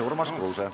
Urmas Kruuse.